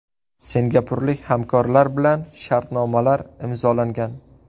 Singapurlik hamkorlar bilan shartnomalar imzolangan.